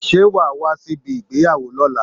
Ṣé wa a wá sí ibi ìgbéyàwó lóla?